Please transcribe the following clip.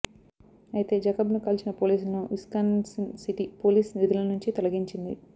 అయితే జాకబ్ను కాల్చిన పోలీసులను విస్కాన్సిన్ సిటీ పోలీస్ విధుల నుంచి తొలగించింది